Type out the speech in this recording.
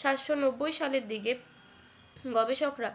সাতশো নব্বই সালের দিকের গবেষকরা